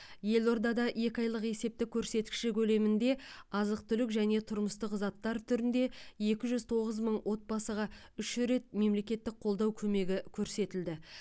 елордада екі айлық есептік көрсеткіші көлемінде азық түлік және тұрмыстық заттар түрінде екі жүз тоғыз мың отбасыға үш рет мемлекеттік қолдау көмегі көрсетілді